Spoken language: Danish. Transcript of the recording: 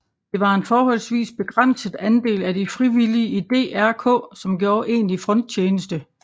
Det var en forholdsvis begrænset andel af de frivillige i DRK som gjorde egentlig fronttjeneste